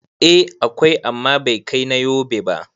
Eh, akwai amma bai kai na Yobe ba